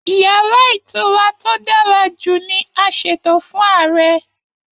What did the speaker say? Yàrá ìtura tó dára jù ní a ṣètò fún Ààrẹ.